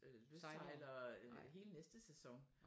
Lystsejlere hele næsten sæson